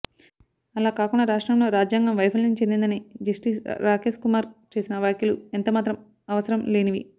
అలా కాకుండా రాష్ట్రంలో రాజ్యాంగం వైఫ ల్యం చెందిందని జస్టిస్ రాకేశ్కుమార్ చేసిన వ్యాఖ్యలు ఎంతమాత్రం అవ సరం లేనివి